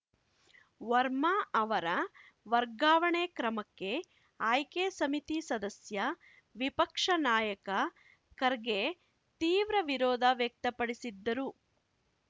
ವರ್ಮ ಅವರ ವರ್ಗಾವಣೆ ಕ್ರಮಕ್ಕೆ ಆಯ್ಕೆ ಸಮಿತಿ ಸದಸ್ಯ ವಿಪಕ್ಷ ನಾಯಕ ಖರ್ಗೆ ತೀವ್ರ ವಿರೋಧ ವ್ಯಕ್ತಪಡಿಸಿದ್ದರು